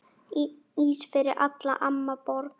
Ís fyrir alla, amma borgar